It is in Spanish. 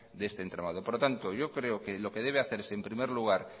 de este entramado por lo tanto yo creo que lo debe hacerse en primer lugar